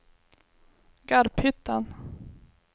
Garphyttan